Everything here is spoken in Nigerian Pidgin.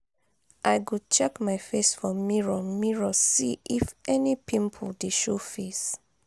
i go check my face for mirror mirror see if any pimple dey show face